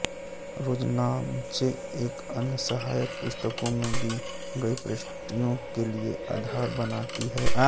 रोजनामचे एवं अन्य सहायक पुस्तकों में दी गई प्रविष्टियों के लिए आधार बनाती है